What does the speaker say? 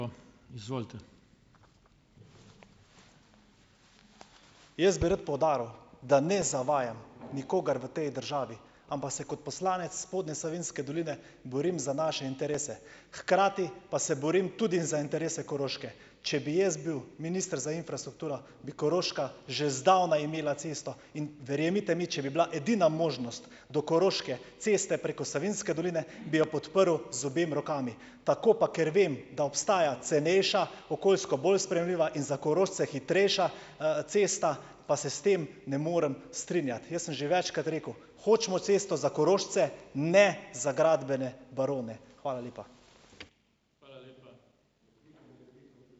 Jaz bi rad poudaril, da ne zavajam nikogar v tej državi, ampak se kot poslanec Spodnje Savinjske doline borim za naše interese, hkrati pa se borim tudi za interese Koroške. Če bi jaz bil minister za infrastrukturo, bi Koroška že zdavnaj imela cesto in verjemite mi, če bi bila edina možnost do Koroške ceste preko Savinjske doline, bi jo podprl z obema rokama. Tako pa, ker vem, da obstaja cenejša, okoljsko bolj sprejemljiva in za Korošce hitrejša, cesta, pa se s tem ne morem strinjati. Jaz sem že večkrat rekel: "Hočemo cesto za Korošce, ne za gradbene barone". Hvala lepa.